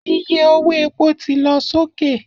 Iye owó epo ti lọ sókè